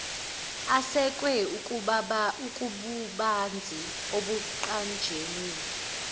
asekwe kububanzi ekuqanjweni